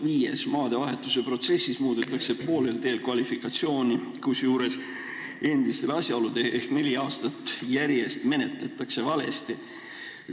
Viiendaks: maadevahetuse protsessi puhul muudetakse poolel teel kvalifikatsiooni, kusjuures endistel asjaoludel ehk neli aastat järjest menetletakse valesti.